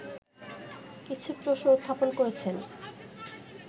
কিছু প্রশ্ন উত্থাপন করেছেন